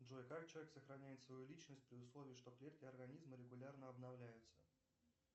джой как человек сохраняет свою личность при условии что клетки организма регулярно обновляются